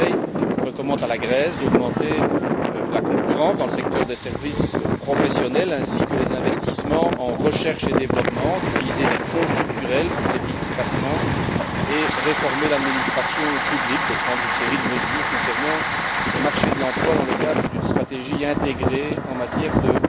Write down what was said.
Le Conseil recommande à la Grèce d'augmenter la concurrence dans le secteur des services professionnels ainsi que les investissements en recherche et développement, d'utiliser les fonds structurels plus efficacement et de réformer l'administration publique, de prendre une série de mesures concernant le marché de l'emploi dans le cadre d'une stratégie intégrée en matière de